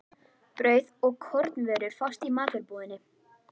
Brauð og kornvörur fást í matvörubúðinni.